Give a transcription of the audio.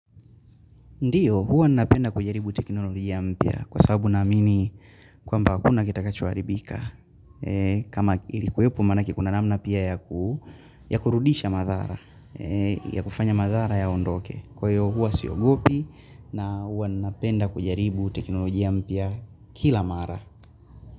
Ndiyo, huwa napenda kujaribu teknolojia mpya kwa sababu na amini kwa mba hakuna kitakachoaribika. Kama ilikuwepo manake kuna namna pia ya kurudisha madhara, ya kufanya madhara ya ondoke. Kwa hiyo, huwa siogopi na huwa nnapenda kujaribu teknolojia mpya kila mara.